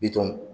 Bitɔn